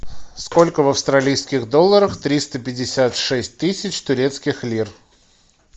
сколько в австралийских долларах триста пятьдесят шесть тысяч турецких лир